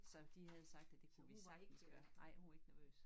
Så de havde sagt at det kunne vi sagtens gøre